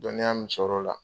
Dɔnniya min sɔrɔ o la